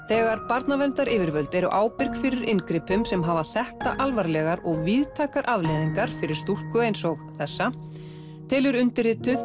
þegar barnaverndaryfirvöld eru ábyrg fyrir inngripum sem hafa þetta alvarlegar og víðtækar afleiðingar fyrir stúlku eins og þessa telur undirrituð